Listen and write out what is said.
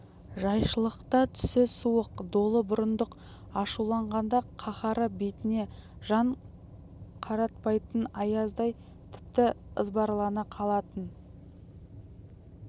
жайшылықта түсі суық долы бұрындық ашуланғанда қаһары бетіне жан қаратпайтын аяздай тіпті ызбарлана қалатын